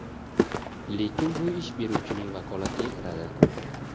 lekin bu ish beruvchining vakolatiga kiradi.